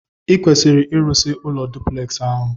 Ikwesiri irụsi ụlọ duplex ahu!!